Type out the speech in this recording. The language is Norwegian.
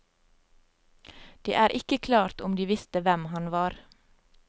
Det er ikke klart om de visste hvem han var.